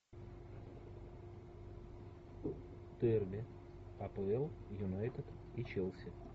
дерби апл юнайтед и челси